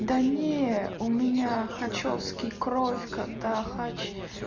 да не у меня хачёвский кровь когда хач